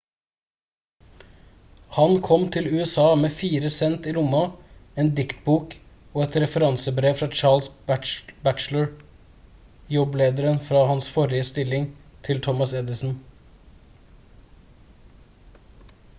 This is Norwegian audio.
han kom til usa med 4 cent i lomma en diktbok og et referansebrev fra charles batchelor jobblederen fra hans forrige stilling til thomas edison